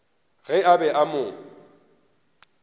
ge a be a mo